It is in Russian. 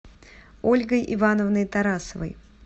ольгой ивановной тарасовой